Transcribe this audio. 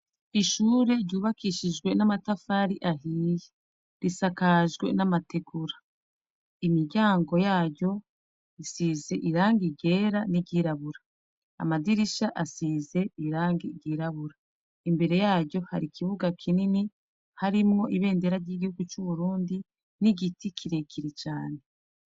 Ishure ryubakishijwe n'amatafari ahiyi risakajwe n'amategura imiryango yayo isize iranga igera n'iryirabura amadirisha asize irange igirabura imbere yaro hari ikibuga kinini harimwo ibendera ry'igihugu c'uburundi ni igiti kirekiri cane.